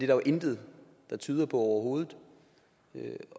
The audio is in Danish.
jo intet der tyder på overhovedet